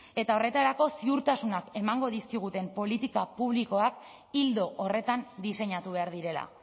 eta horretarako ziurtasunak emango dizkiguten politika publikoak ildo horretan diseinatu behar direla